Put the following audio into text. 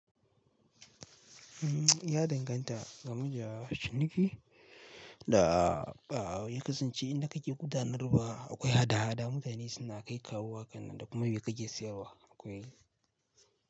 Ya danganta ga muja ci niki da, ah, ya kasance inda kake gudanarwa akwai hada-hada mutane suna kai kawowa kan nan da kuma me kake siyarwa akwai.